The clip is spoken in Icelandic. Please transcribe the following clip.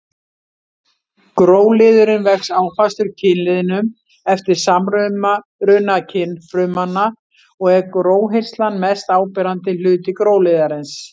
Gróliðurinn vex áfastur kynliðnum eftir samruna kynfrumanna og er gróhirslan mest áberandi hluti gróliðarins.